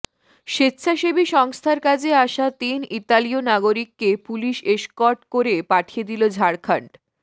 স্বেচ্ছাসেবী সংস্থার কাজে আসা তিন ইতালীয় নাগরিককে পুলিশ এসকর্ট করে পাঠিয়ে দিল ঝাড়খণ্ড